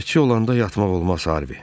Gözətçi olanda yatmaq olmaz Harvi.